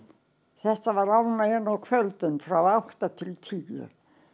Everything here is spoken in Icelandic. þetta var ánægjan á kvöldin frá átta til tíu